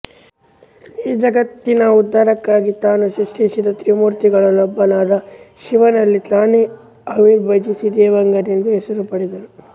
ಈ ಜಗತ್ತಿನ ಉದ್ಧಾರಕ್ಕಾಗಿ ತಾನು ಸೃಷ್ಟಿಸಿದ ತ್ರಿಮೂರ್ತಿಗಳಲ್ಲೊಬ್ಬನಾದ ಶಿವನಲ್ಲಿ ತಾನೇ ಅವಿರ್ಭವಿಸಿ ದೇವಾಂಗನೆಂದು ಹೆಸರು ಪಡೆದವನು